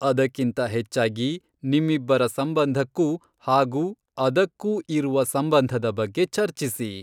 ಅದಕ್ಕಿಂತ ಹೆಚ್ಚಾಗಿ, ನಿಮ್ಮಿಬ್ಬರ ಸಂಬಂಧಕ್ಕೂ ಹಾಗೂ ಅದಕ್ಕೂ ಇರುವ ಸಂಬಂಧದ ಬಗ್ಗೆ ಚರ್ಚಿಸಿ.